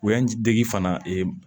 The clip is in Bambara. Yan dege fana